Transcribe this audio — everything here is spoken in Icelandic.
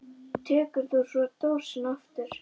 Tekur þú svo dósina aftur?